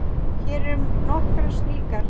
Hér eru nokkrar slíkar